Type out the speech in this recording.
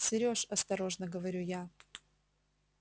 серёж осторожно говорю я